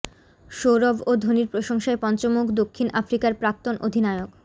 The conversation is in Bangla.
সৌরভ ও ধোনির প্রশংসায় পঞ্চমুখ দক্ষিণ আফ্রিকার প্রাক্তন অধিনায়ক